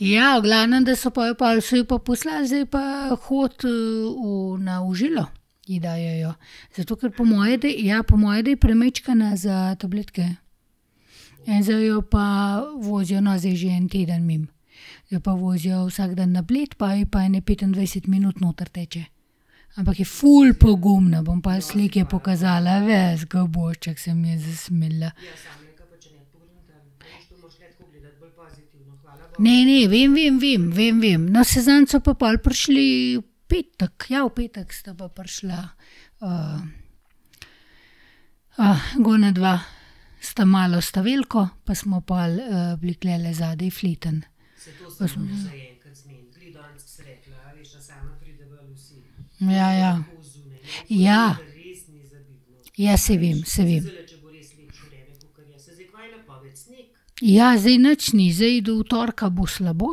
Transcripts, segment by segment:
Ja, v glavnem, da so pol, so jo pa poslali, zdaj pa hodi, na v žilo ji dajejo. Zato ker po moje, da, ja, po moje, da je premajčkena za tabletke. In zdaj jo pa vozijo, no, zdaj je že en teden mimo. Jo pa vozijo vsak dan na Bled, pa je pa ene petindvajset minut noter teče. Ampak je ful pogumna, bom pol slike pokazala, ves, ke ubožček, se mi je zasmilila. Ne, ne, vem, vem, vem, vem, vem. No, saj zadnjič so pa pol prišli v petek, ja v petek sta pa prišla. gornja dva s ta malo, s ta veliko, pa smo pol, bili tulele zadaj fletno. Pa smo ... Ja, ja. Ja. Ja, saj vem, saj vem. Ja, zdaj nič ni. Zdaj, do torka bo slabo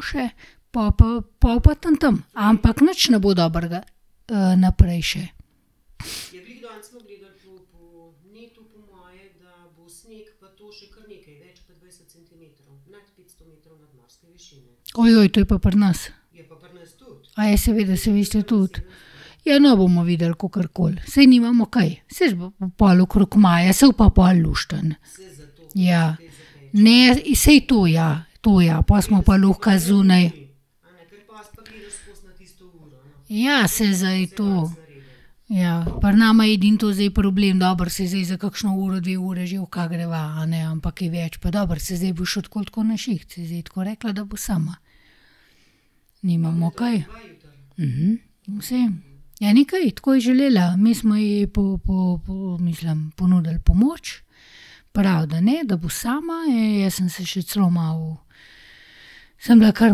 še, po pa, pol bo pa tam, tam. Ampak nič ne bo dobrega, naprej še. to je pa pri nas. seveda, saj vi ste tudi. Ja, no, bomo videli, kakorkoli. Saj nimamo kaj. Saj bo pa pol okrog maja, saj bo pa pol luštno. Ja. Ne, saj to, ja. To, ja. Po smo pa lahko zunaj. Ja, saj zdaj to ... Ja. Pri nama je edino to zdaj problem, dobro, saj zdaj za kakšno uro, dve ure že lahko greva, a ne, ampak kaj več pa, dobro, se zdaj bo šel tako ali tako na šiht, saj zdaj je tako rekla, da bo sama. Nimamo kaj. Vseeno. Ja, ni kaj. Tako je želela. Mi smo ji mislim, ponudili pomoč, pravi, da ne, da bo sama. Jaz sem se še celo malo, sem bila kar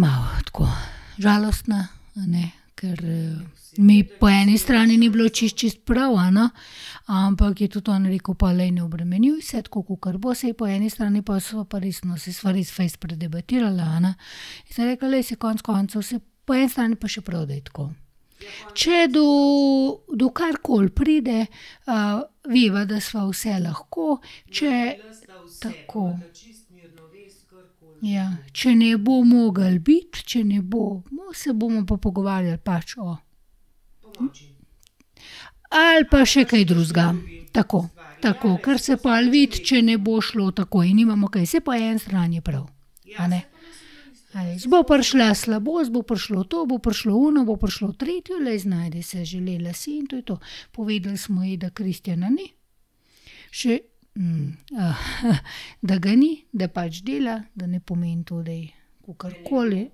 malo, tako, žalostna, a ne, ker, mi po eni strani ni bilo čisto, čisto prav, a ne, ampak je tudi on rekel pol: "Glej, ne obremenjuj se, tako kakor bo." Saj po eni strani pol sva pa res, no, saj sva res fejst predebatirala, a ne, in sem rekla: "Glej, saj konec koncev, saj po eni strani je pa še prav, da je tako. Če do, do karkoli pride, veva, da sva vse lahko, če ..." Tako. Ja. Če ne bo mogel biti, če ne bo, se bomo pa pogovarjali pač o ... Ali pa še kaj drugega. Tako. Tako. Ker se pol vidi, če ne bo šlo takoj. Nimamo kaj. Saj po eni strani je prav, a ne. Bo prišla slabost, po prišlo to, bo prišlo ono, bo prišlo tretje. Glej, znajdi se. Želela si in to je to. Povedali smo ji, da Kristjana ni, še, da ga ni, da pač dela, da ne pomeni to, da je kakorkoli.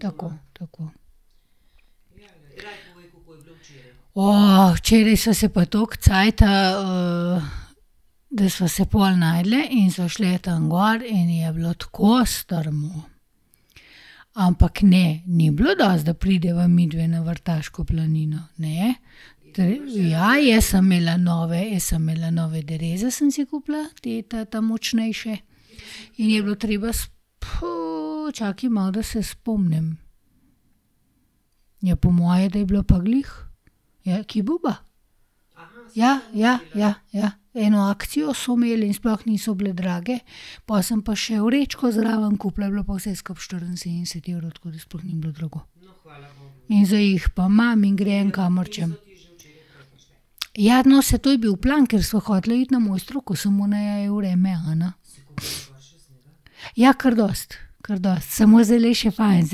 Tako, tako. včeraj sva se pa toliko cajta, da sva se pol najdlje in sva šla tam gor in je bilo tako strmo. Ampak ne, ni bilo dosti, da prideva midve na Vrtaško planino, ne. ja, jaz sem imela nove, jaz sem imela nove dereze, sem si kupila, te ta močnejše. In je bilo treba čakaj malo, da se spomnim. Ja, po moje, da je bilo pa glih Kibuba. Ja, ja, ja, ja. Eno akcijo so imeli in sploh niso bile drage. Pol sem pa še vrečko zraven kupila, je bilo pa vse skupaj štiriinsedemdeset evrov. Tako da sploh ni bilo drago. In zdaj jih pa imam in grem, kamor hočem. Ja, no, saj to je bil plan, ker sva hoteli iti na Mojstrovko, samo naju je vreme, a ne. Ja, kar dosti. Kar dosti. Samo zdaj je še fajn,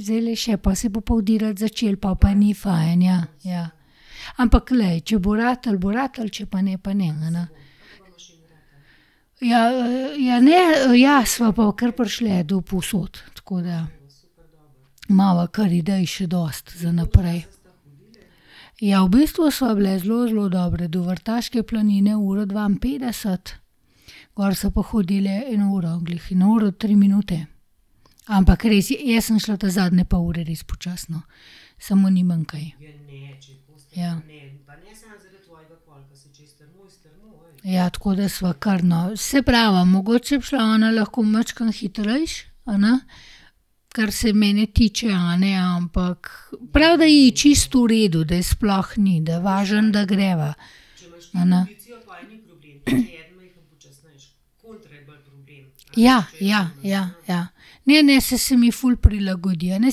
zdajle je še, po se bo pa udirati začelo, pol pa ni fajn ja, ja. Ampak glej, če bo ratalo, bo ratalo, če pa ne, pa ne, a ne. Ja, ja ne, ja, sva pa kar prišli do povsod. Tako da imava kar idej še dosti za naprej. Ja, v bistvu sva bili zelo, zelo dobri. Do Vrtaške planine uro dvainpetdeset, gor sva pa hodili eno uro glih, eno uro tri minute. Ampak res, jaz sem šla ta zadnje pol ure res počasi, no. Samo nimam kaj. Ja. Ja, tako da sva kar, no. Saj pravim, mogoče bi šla ona lahko majčkeno hitreje, a ne, kar se mene tiče, a ne, ampak prav, da ji je čisto v redu, da sploh ni, da važno, da greva. A ne. Ja, ja, ja, ja. Ne, ne, saj se mi ful prilagodi, a ne,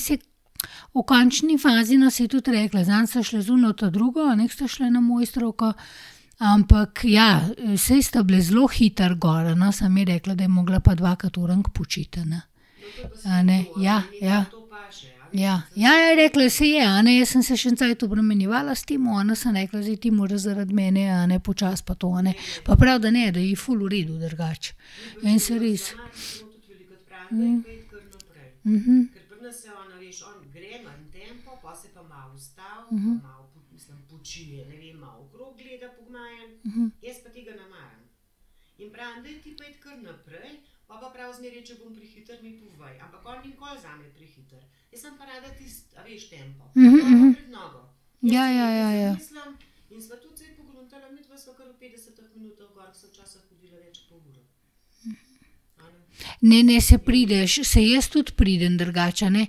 saj v končni fazi, no, saj je tudi rekla: "Zadnjič sve šli z ono ta drugo" a ne, ke sta šle na Mojstrovko, ampak ja, saj sta bili zelo hitro gor, a ne, samo je rekla, da je mogla pa dvakrat orenk počiti, a ne. A ne. Ja, ja. Ja. Ja, ja, je rekla, saj je, a ne, jaz sem se še en cajt obremenjevala s tem, a ne, sem rekla: "Zdaj ti moraš zaradi mene, a ne, počasi pa to, a ne." Pa pravi, da ne, da ji je ful v redu drugače. Meni se res ... Ja, ja, ja, ja. Ne, ne, saj prideš. Saj jaz tudi pridem drugače, a ne,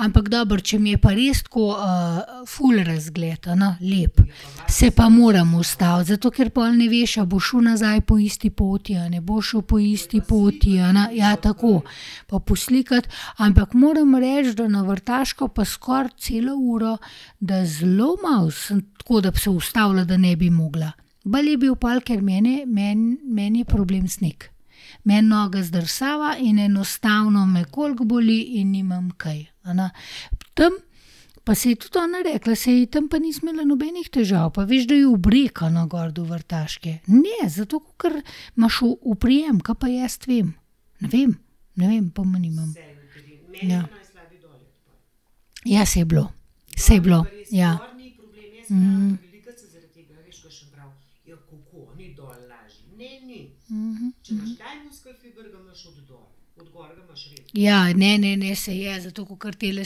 ampak dobro, če mi je pa res tako, ful razgled, a ne, lep, se pa moram ustaviti. Zato ker pol ne veš, a boš šel nazaj po isti poti a ne boš šel po isti poti, a ne. Ja, tako. Pa poslikati. Ampak moram reči, da na Vrtaško pa skoraj celo uro, da zelo malo tako, da bi se ustavila, da ne bi mogla. Bolj je bil pol, ker mene, meni, meni je problem sneg. Meni noga zdrsava in enostavno me koliko boli in nimam kaj, a ne. Tam pa se je tudi ona rekla: "Saj tam pa nisi imela nobenih težav, pa veš, da je v breg, a ne, gor do Vrtaške." Ne, zato ker imaš oprijem, ka pa jaz vem. Ne vem. Ne vem, pojma nimam. Ja. Ja, saj je bilo. Saj je bilo. Ja. Ja, ne, ne, ne, saj je, zato kakor tele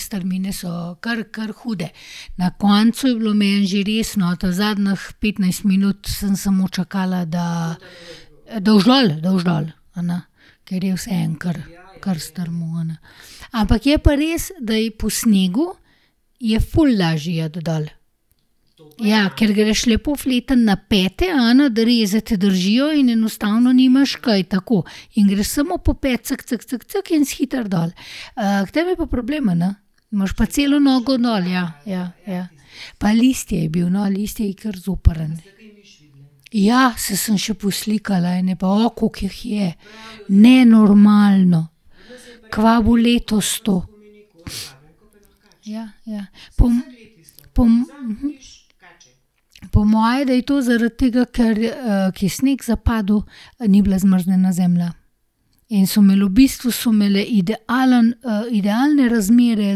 strmine so kar, kar hude. Na koncu je bilo meni že res, no, ta zadnjih petnajst minut sem samo čakala, da, da boš dol, da boš dol, a ne. Ker je vseeno kar, kar strmo, a ne. Ampak je pa res, da je po snegu, je ful lažje iti dol. Ja, ker greš lepo fletno na pete, a ne, dereze te držijo in enostavno nimaš kaj, tako. In greš samo po pet, in si hitro dol. k tebi je pa problem, a ne. Imaš pa celo nogo dol, ja, ja, ja. Pa listje je bilo, no, listje je kar zoprno. Ja, saj sem še poslikala ene, pa, koliko jih je. Nenormalno. Kaj bo letos to. Ja, ja. Po moje, da je to zaradi tega, ker, ke je sneg zapadel, pa ni bila zmrznjena zemlja. In so imeli v bistvu, so imele idealen, idealne razmere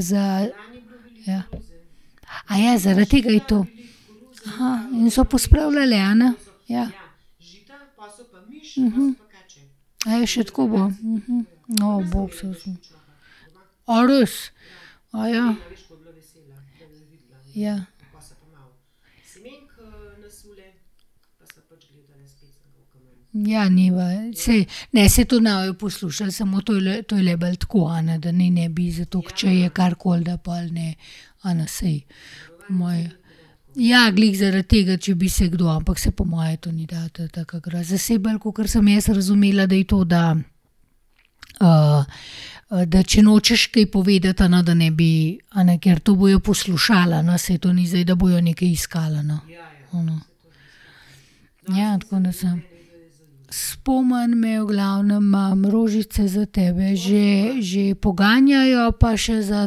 za, ja. zaradi tega je to. in so pospravljale, a ne. Ja. še tako je bilo. bog se usmili. A res? Ja. Ja, njiva. Saj, ne, saj to ne bojo poslušali, samo to je le, to je le bolj tako, a ne, da naj ne bi, zato ker če je karkoli, da pol ne, a ne, saj po moje ... Ja, glih zaradi tega, če bi se kdo. Ampak saj po moje to ni taka groza. Saj bolj, kakor sem jaz razumela, da je to, da, da če nočeš kaj povedati, a ne, da ne bi, a ne, ker to bojo poslušali, a ne, saj to ni zdaj da bojo nekaj iskali, a ne. A ne. Ja, tako da sem ... Spomni me, v glavnem, imam rožice za tebe. Že, že poganjajo, pa še za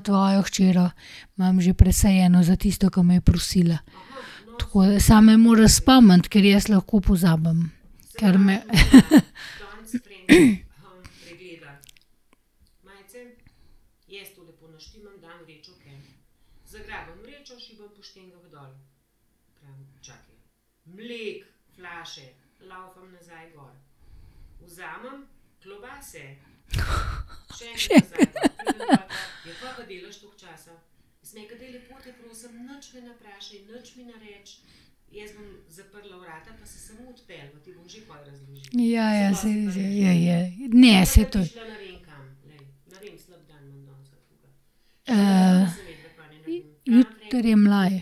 tvojo hčer imam že presajeno za tisto, ke me je prosila. Tako da ... Samo me moraš spomniti, ker jaz lahko pozabim. Ker me, Še ... Ja, ja, saj res. Ja, je. Ne, saj to ... jutri je mlaj.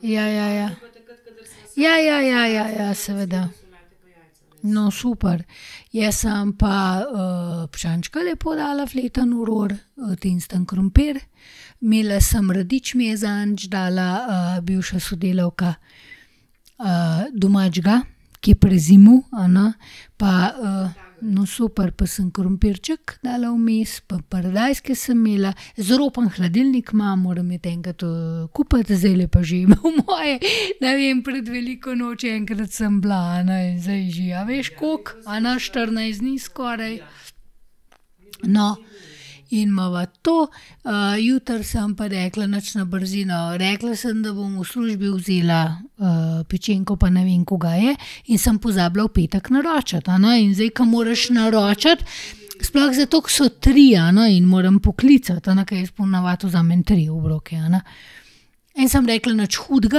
Ja, ja, ja. Ja, ja, ja, ja, ja, seveda. No, super. Jaz sem pa piščančka, lepo dala fletno v ror, tenstan krompir, imela sem radič, mi je zadnjič dala, bivša sodelavka domačega, ke je prezimil, a ne, pa, no, super, pa sem krompirček dala vmes, pa paradajzke sem imela. Izropan hladilnik imam, moram iti enkrat, kupiti, zdajle pa že po moje, ne vem, pred veliko nočjo enkrat sem bila, a ne. Zdaj je že, a veš, koliko, a ne, štirinajst dni skoraj. No, in imava to, jutri sem pa rekla, nič, na brzino. Rekla sem, da bom v službi vzela, pečenko pa ne vem, kuga je, in sem pozabila v petek naročiti, a ne, in zdaj, ke moraš naročiti, sploh zato, ke so tri, a ne, in moram poklicati, a ne, ker jaz po navadi vzamem tri obroke, a ne. In sem rekla: "Nič hudega,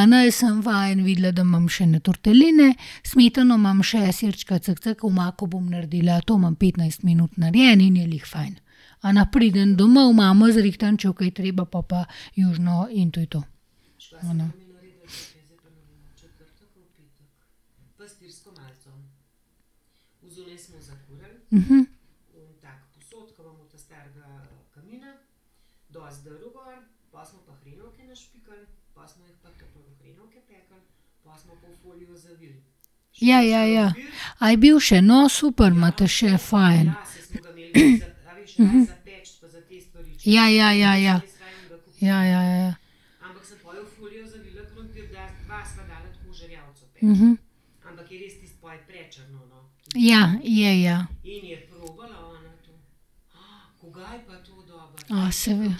a ne," sem pa videla, da imam še ene torteline, smetano imam še, sirčka, Omako bom naredila. To imam petnajst minut narejeno in je glih fajn, a ne. Pridem domov, mamo zrihtam, če bo kaj treba, pol pa južino in to je to. A ne. Ja, ja, ja. A je bil še? No, super, imate še fajn. Ja, ja, ja, ja. Ja, ja, ja. Ja, je ja. A, seveda.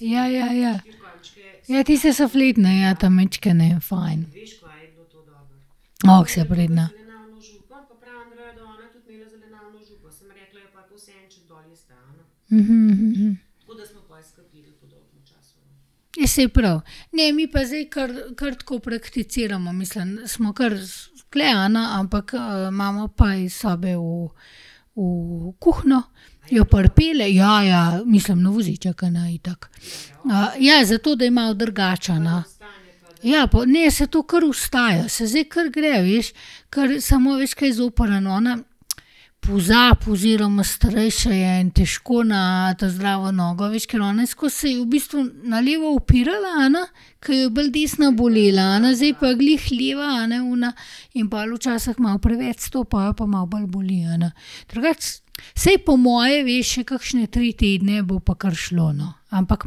Ja, ja, ja. Ja, tiste so fletne, ja, ta majčkene, fajn. ke si pridna. Ja, saj je prav. Ne, mi pa zdaj kar, kar tako prakticiramo, mislim, smo kar tule, a ne, ampak, imamo pa iz sobe v, v kuhinjo, jo pripelje. Ja, ja, mislim na voziček, a ne, itak. ja, zato da je malo drugače, a ne. Ja ne, saj to kar vstaja, saj zdaj kar gre, veš. samo, veš, kaj je zoprno? Ona pozabi oziroma starejša je in težko na ta zdravo nogo, a veš, ker ona je skozi, se je v bistvu na levo opirala, a ne, ke jo je bolj desna bolela, a ne. Zdaj pa glih leva, a ne, ona in pol včash malo preveč stopi, pol pa malo bolj boli, a ne. Drugače saj po moje, veš, še kakšne tri tedne bo pa kar šlo, no. Ampak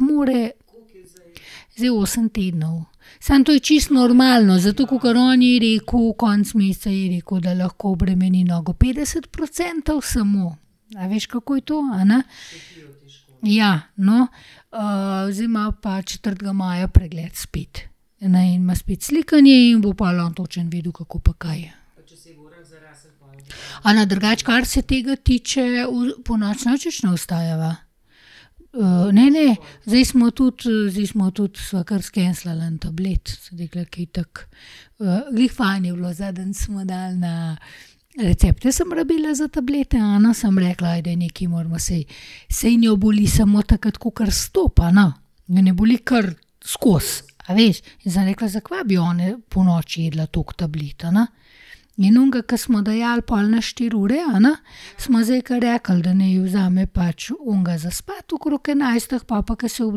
more ... Zdaj je osem tednov. Samo to je čisto normalno. Zato, kakor on ji je rekel, konec meseca ji je rekel, da lahko obremeni nogo petdeset procentov, samo, a veš, kako je to, a ne. Ja, no. zdaj ima pa četrtega maja pregled spet, a ne, in ima spet slikanje in bo pol on točno vedel, kako pa kaj. A ne, drugače, kar se tega tiče, ponoči nič več ne vstajava. ne, ne. Zdaj smo tudi, zdaj smo tudi, sva kar skenslala en tablet. Sem rekla: "Ke itak, glih fajn je bilo," zadnjič smo dali na, recepte sem rabila za tablete, a ne, sem rekla: "Ajde, nekaj moramo. Saj, saj njo boli samo takrat, kakor stopi, a ne." Je ne boli kar skozi, a veš. In sem rekla: "Zakva bi ona ponoči jedla toliko tablet, a ne." In onega, ke smo dajali pol na štiri ure, a ne, smo zdaj kar rekli, da naj vzame pač onega za spati okrog enajstih, pol pa, ke se ob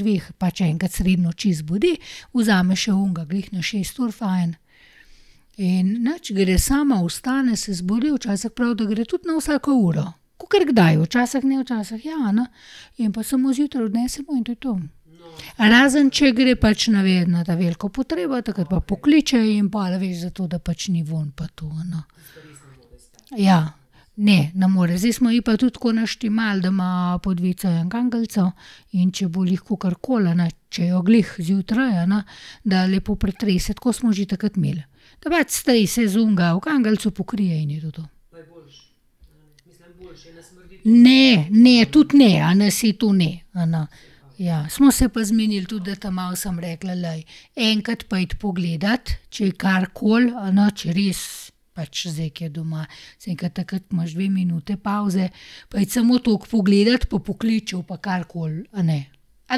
dveh, pač enkrat sredi noči zbudi, vzame še onega, glih na šest ur fajn. In nič, gre sama, vstane, se zbudi, včasih pravi, da gre tudi na vsako uro. Kakor kdaj, včasih ne, včasih ja, a ne. In po samo zjutraj odnesemo in to je to. Razen če gre pač, ne vem, na ta veliko potrebo, takrat pa pokliče in pol, a veš, zato da pač ni vonj pa to, a ne. Ja. Ne, ne more. Zdaj smo ji pa tudi tako naštimali, da ima pod vecejem kanglico, in če bo glih kakorkoli, a ne, če jo glih zjutraj, a ne, da lepo pretrese. Tako smo že takrat imeli. Ker pač strese z onega v kanglico, pokrije in je to to. Ne, ne, tudi ne, a ne, saj to ne, a ne. Ja. Smo se pa zmenili tudi, da ta mali sem rekla: "Glej, enkrat pojdi pogledat, če je karkoli, a ne, če res pač zdaj, ko je doma." Sem rekla: "Takrat, ke imaš dve minuti pavze, pojdi samo toliko pogledat pa pokliči, če bo pa karkoli, a ne." A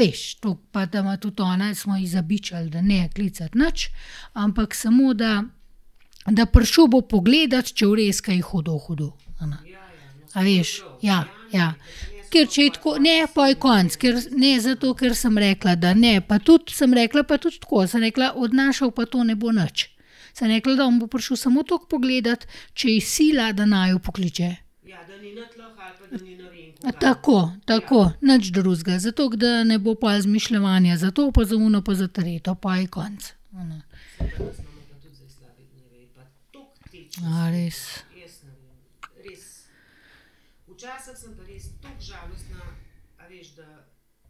veš? Toliko, pa da ima tudi ona, smo ji zabičali, da ne klicati nič, ampak smo da, da prišel bo pogledat, če bo res kaj hudo, hudo, a ne. A veš? Ja. Ja. Ja. Ker če je tako, ne, pol je konec. Ker, ne, zato, ker sem rekla, da ne. Pa tudi sem rekla, pa tudi tako, sem rekla: "Odnašal pa to ne bo nič." Sem rekla, da on bo prišel samo toliko pogledat, če je sila, da naju pokliče. Tako. Tako. Nič drugega. Zato ker, da ne bo pol izmišljevanja za to, pa za ono pa za tretje. Po je konec, a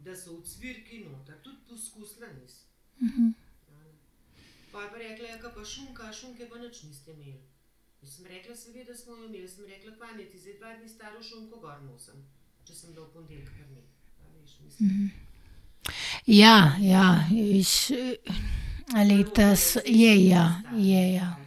ne. A res? Ja, ja, veš. A je, ja, je, ja.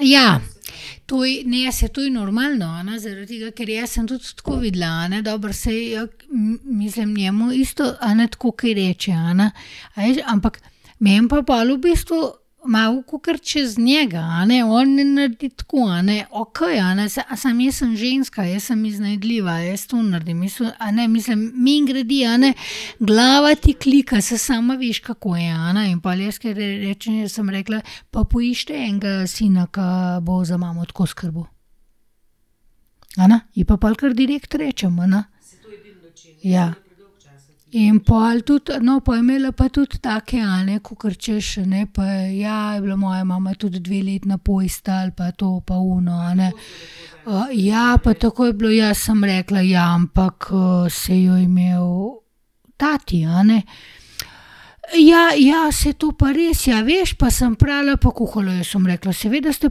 Ja. To ne, saj to je normalno, a ne, zaradi tega ker jaz sem tudi tako videla, a ne. Dobro, saj mislim, njemu isto, a ne, tako kaj reče, a ne, a veš, ampak meni pa pol v bistvu malo kakor čez njega, a ne. On naredi tako, a ne, okej, a ne, saj samo jaz sem ženska, jaz sem iznajdljiva. Jaz to naredim a ne, mislim mimogrede, a ne, glava ti klika, saj sama veš, kako je, a ne. In pol jaz kadar rečem, jaz sem rekla: "Pa poiščite enega sina, ke bo za mamo tako skrbel." A ne, ji pa pol kar direkt rečem, a ne. Ja. In pol tudi, no, pol je imela pa tudi take, a ne, kakor, hočeš, a ne: "Pa ja, je bila moja mama tudi dve leti na postelji pa to, pa ono, a ne. ja, pa takoj je bilo ..." Ja, sem rekla: "Ja, ampak, saj jo je imel tati, a ne." Ja, ja, saj to pa res, ja. Veš, pa sem prala pa kuhala. Ja, sem rekla: "Seveda ste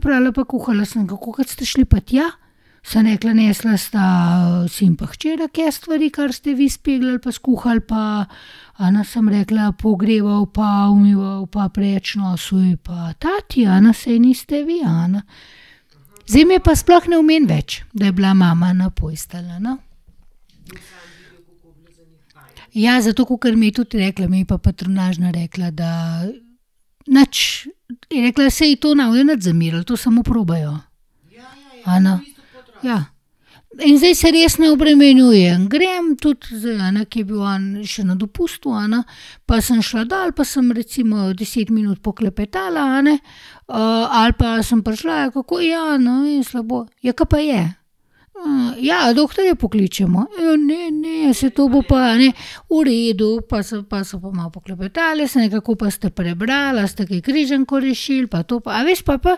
prala pa kuhala, sem rekla, kolikokrat ste šli pa tja?" Sem rekla: "Nesla sta sin pa hčera ke stvari, kar ste vi speglali pa skuhali pa, a ne," sem rekla, "pogreval pa umival pa proč nosil je pa tati, a ne, saj niste vi, a ne." Zdaj mi pa sploh ne omeni več, da je bila mama na postelji, a ne. Ja, zato, kakor mi je tudi rekla, mi je pa patronažna rekla, da nič, je rekla, se to ne bojo nič zamerili, to samo probajo, a ne. Ja. In zdaj se res ne obremenjujem. Grem, tudi zdajle, a ne, ke je bil on še na dopustu, a ne, pa sem šla dol pa sem recimo deset minut poklepetala, a ne, ali pa sem prišla: "Kako?" "Ja, ne vem, slabo." "Ja, ke pa je?" ja, a doktorja pokličemo?" "Ja, ne, ne, saj to bo pa, a ne." V redu, po sem pa, sva pa malo poklepetali, sem rekla: "Koliko pa ste prebrali? A ste kaj križanko rešil?" Pa to pa ... A veš po pa,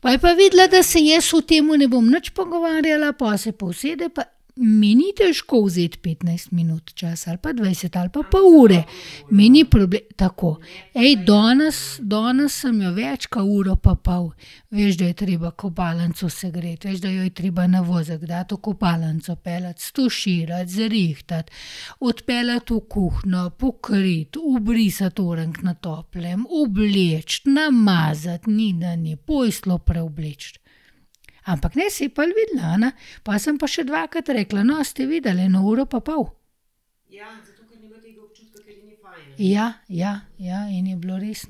po je pa videla, da se jaz o tem ne bom nič pogovarjala, po se pa usede pa mi ni težko vzeti petnajst minut časa ali pa dvajset ali pa pol ure. Mi ni tako. danes, danes sem jo več kot uro pa pol. Veš, da je treba kopalnico segreti, veš, da jo je treba na vozek dati, v kopalnico peljati, stuširati, zrihtati, odpeljati v kuhinjo, pokriti, obrisati orenk na toplem, obleči, namazati. Ni, da ni. Posteljo preobleči. Ampak ne, saj je pol videla, a ne. Pol sem pa še dvakrat rekla: "No, a ste videli?" Eno uro pa pol. Ja. Ja. Ja, in je bilo res.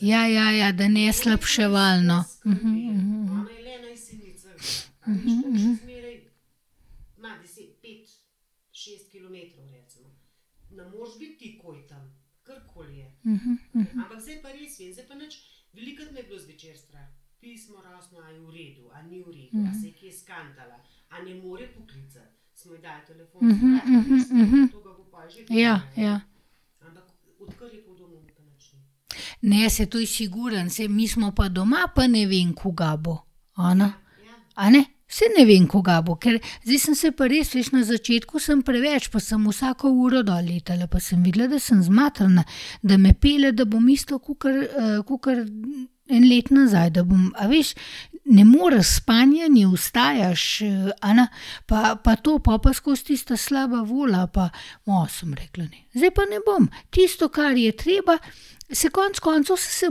Ja, ja, ja. Da ne slabševalno. Ja, ja. Ne, saj to je sigurno, saj mi smo pa doma, pa ne vem, kaj bo, a ne. A ne? Saj ne vem, kaj bo. Ker zdaj sem se pa res, veš, na začetku sem preveč, pa sem vsako uro dol letala. Pa sem videla, da sem zmatrana, da me pelje, da bom isto kakor, kakor eno let nazaj, da bom, a veš. Ne moreš, spanja ni, vstajaš, a ne. Pa, pa to, po pa skozi tista slaba volja pa ... sem, rekla ne, zdaj pa ne bom. Tisto, kar je treba, saj konec koncev, saj se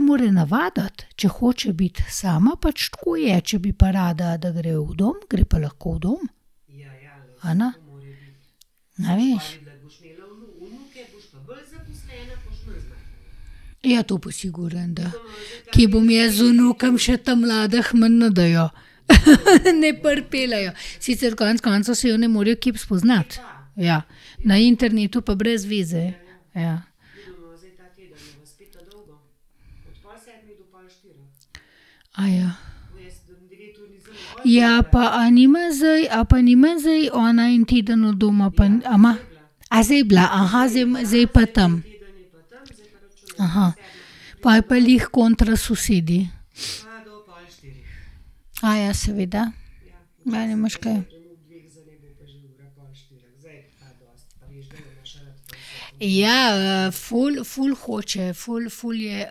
mora navaditi. Če hoče biti sama, pač tako je. Če bi pa rada, da gre v dom, gre pa lahko v dom, a ne. A veš? Ja, to pa sigurno, da. Kje bom jaz z vnukom? Še ta mladh mi ne dajo. Ne pripeljejo. Sicer konec koncev, saj jo ne morejo kje spoznati. Ja. Na internetu pa brez veze, ja. Ja, pa a nima zdaj, a pa nima zdaj ona en teden od doma pa en ... A ima? A zdaj je bila? zdaj je pa tam. Pol je pa glih kontra sosedi. seveda. Ma, nimaš kaj. Ja, ful, ful hoče, ful, ful je, ...